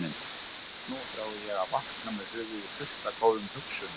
Nú þrái ég að vakna með höfuðið fullt af góðum hugsunum.